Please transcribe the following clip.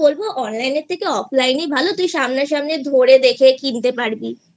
বলবো online এর থেকে offline ই ভালো তুই সামনা সামনি ধরে দেখে কিনতে পারবিI